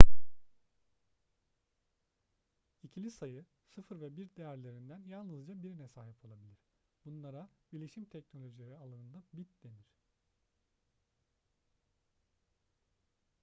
i̇kili sayı 0 ve 1 değerlerinden yalnızca birine sahip olabilir. bunlara bilişim teknolojileri alanında bit denir